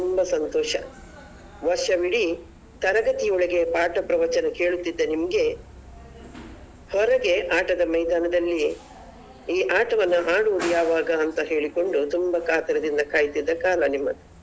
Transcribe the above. ಅಂದ್ರೆ ತುಂಬ ಸಂತೋಷ ವರ್ಷವಿಡೀ ತರಗತಿ ಒಳಗೆ ಪಾಠ ಪ್ರವಚನ ಕೇಳುತಿದ್ದ ನಿಮ್ಗೆ ಹೊರಗೆ ಆಟದ ಮೈದಾನದಲ್ಲಿ ಈ ಆಟವನ್ನ ಆಡುದು ಯಾವಾಗ ಅಂತ ಹೇಳಿಕೊಂಡು ತುಂಬ ಕಾತರದಿಂದ ಕಾಯುತ್ತಿದ್ದ ಕಾಲ ನಿಮ್ಮದು.